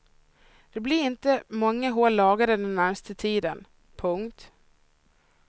Det blir inte många hål lagade den närmaste tiden. punkt